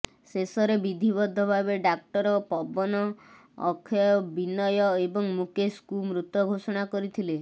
ଶେଷରେ ବିଧିବଦ୍ଧ ଭାବେ ଡାକ୍ତର ପବନ ଅକ୍ଷୟ ବିନୟ ଏବଂ ମୁକେଶକୁ ମୃତ ଘୋଷଣା କରିଥିଲେ